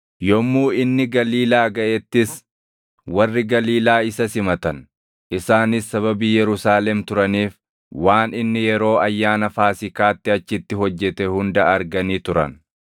Yommuu inni Galiilaa gaʼettis warri Galiilaa isa simatan. Isaanis sababii Yerusaalem turaniif waan inni yeroo Ayyaana Faasiikaatti achitti hojjete hunda arganii turan.